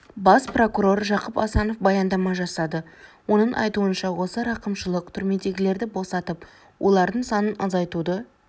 бас прокурор жақып асанов баяндама жасады оның айтуынша осы рақымшылық түрмедегілерді босатып олардың санын азайтуды